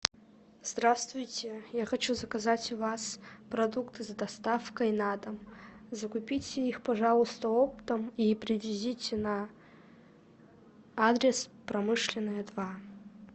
здравствуйте я хочу заказать у вас продукты с доставкой на дом закупите их пожалуйста оптом и привезите на адрес промышленная два